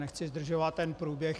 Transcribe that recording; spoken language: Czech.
Nechci zdržovat ten průběh.